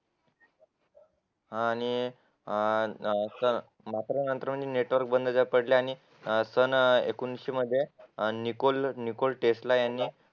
आणि अं मात्र मात्र म्हणजे नेटवर्क बंद पडल्याने सन एकोणविशे मध्ये निकोल टेस्ला यांनी